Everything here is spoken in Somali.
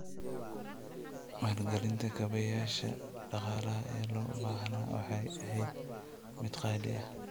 Maalgelinta kaabayaasha dhaqaalaha ee loo baahnaa waxay ahayd mid qaali ah